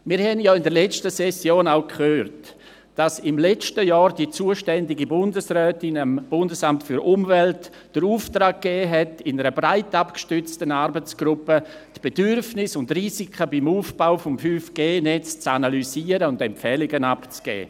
Wir haben ja in der letzten Session auch gehört, dass die zuständige Bundesrätin im letzten Jahr dem Bundesamt für Umwelt (BAFU) den Auftrag gegeben hat, in einer breit abgestützten Arbeitsgruppe die Bedürfnisse und Risiken beim Aufbau des 5G-Netzes zu analysieren und Empfehlungen abzugeben.